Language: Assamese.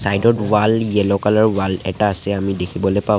চাইড ত ৱাল য়েল্লো কালাৰ ৰ ৱাল এটা আছে আমি দেখিবলৈ পাওঁ।